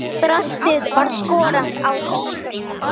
Draslið var skorað á hólm.